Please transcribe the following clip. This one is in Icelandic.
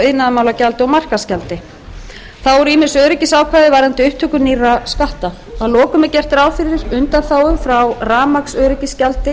iðnaðarmálagjaldi og markaðsgjaldi þá eru ýmis öryggisákvæði varðandi upptöku nýrra skatta að lokum er gert ráð fyrir undanþágu frá rafmagnsöryggisgjaldi